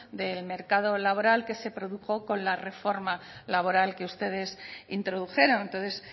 del mercado laboral que se produjo con la reforma laboral que ustedes introdujeron entonces